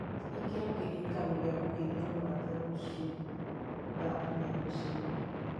ĩkira kĩririkano gĩa kũgeithia mũrata rũciũ thaa inya rũcinĩ